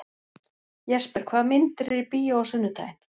Jesper, hvaða myndir eru í bíó á sunnudaginn?